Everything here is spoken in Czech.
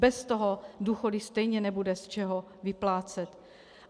Bez toho důchody stejně nebude z čeho vyplácet.